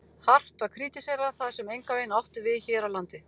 Hart var krítiserað það, sem engan veginn átti við hér á landi.